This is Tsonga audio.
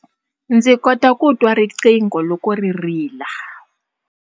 Ndzi kota ku twa riqingho loko ri rila.